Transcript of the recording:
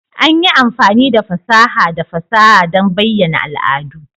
An yi amfani da fasaha da fasaha don bayyana al'adu.